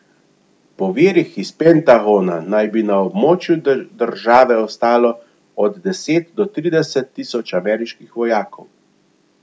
Po virih iz Pentagona naj bi na območju države ostalo od deset do trideset tisoč ameriških vojakov.